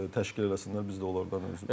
təşkil eləsinlər, biz də onlardan.